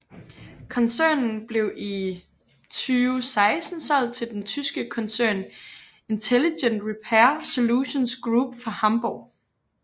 Koncernen blev i 2016 solgt til den tyske koncern Intelligent Repair Solutions Group fra Hamburg